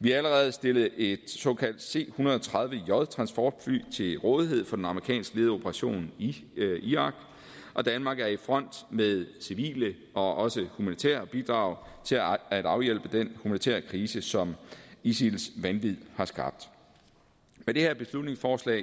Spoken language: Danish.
vi har allerede stillet et såkaldt c 130j transportfly til rådighed for den amerikansk ledede operation i irak og danmark er i front med civile og også humanitære bidrag til at afhjælpe den humanitære krise som isils vanvid har skabt med det her beslutningsforslag